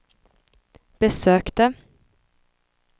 besökte